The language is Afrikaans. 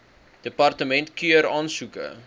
departement keur aansoeke